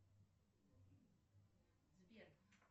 сбер